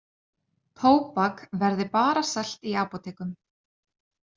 Tóbak verði bara selt í apótekum